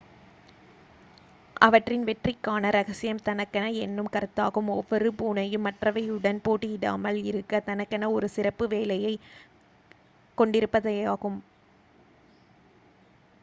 அவற்றின் வெற்றிக்கான ரகசியம் தனக்கென என்னும் கருத்தாகும் ஒவ்வொரு பூனையும் மற்றவையுடன் போட்டியிடாமல் இருக்க தனக்கென ஒரு சிறப்பு வேலையைக் கொண்டிருப்பதேயாகும்